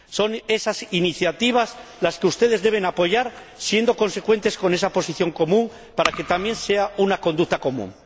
Son esas iniciativas las que ustedes deben apoyar, siendo consecuentes con esa Posición Común para que también sea una conducta común.